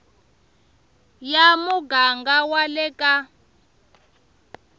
ya muganga wa le ka